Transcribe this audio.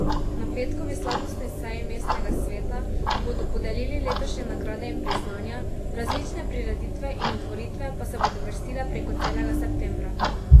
Na petkovi slavnostni seji Mestnega sveta bodo podelili letošnje nagrade in priznanja, različne prireditve in otvoritve pa se bodo vrstile preko celega septembra.